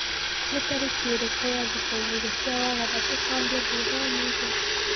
ni tarĩkĩĩrĩkũ ya thikuĩgĩrĩ cĩa wagatatu kwambia thũthaũmũthĩ